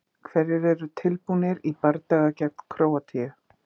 Hverjir eru tilbúnir í bardaga gegn Króatíu?